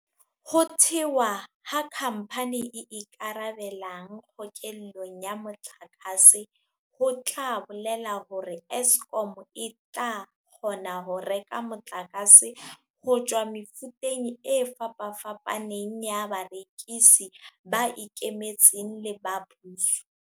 Ho thewa ha khampani e ikarabelang kgokellong ya motlakase ho tla bolela hore Eskom e tla kgona ho reka motlakase ho tswa mefuteng e fapafapaneng ya barekisi, ba ikemetseng le ba puso.